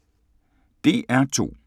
DR2